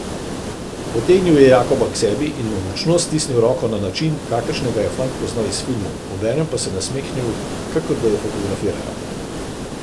Potegnil je Jakoba k sebi in mu močno stisnil roko na način, kakršnega je fant poznal iz filmov, obenem pa se nasmehnil, kakor da ju fotografirajo.